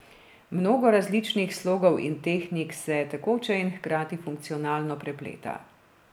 Mnogo različnih slogov in tehnik se tekoče in hkrati funkcionalno prepleta.